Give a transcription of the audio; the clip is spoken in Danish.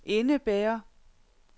indebærer